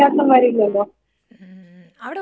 ഉം ഉം അവിടെ ഒത്തിരി ദൂരം നടക്കണോടീ?